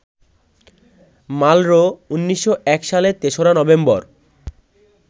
Marlboro ১৯০১ সালের ৩রা November